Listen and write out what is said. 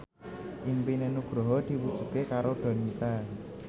impine Nugroho diwujudke karo Donita